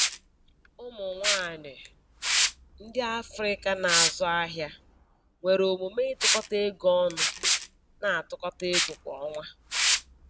Ụmụ nwanyị ndị Afrịka na-azụ ahịa nwere omume ịtụkọta ego ọnụ, na-atụkọta ego kwa ọnwa